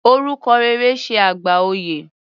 Orúkọ rere ṣe àgbà oyè.